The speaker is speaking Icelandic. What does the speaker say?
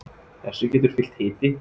þessu getur fylgt hiti